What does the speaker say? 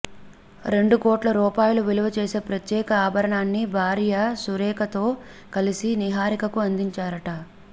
రెండు కోట్ల రూపాయలు విలువ చేసే ప్రత్యేక ఆభరణాన్ని భార్య సురేఖతో కలిసి నిహారికకు అందించారట